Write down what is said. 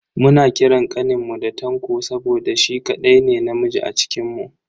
Muna kiran kaninmu da Tanko saboda shi kadai ne namiji a cikinmu.